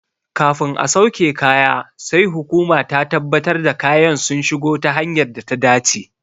Kafin a sauke kaya sai hukuma ta tabbatar da kayan sun shigo ta hanyar data dace.